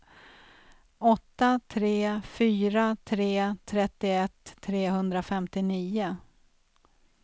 åtta tre fyra tre trettioett trehundrafemtionio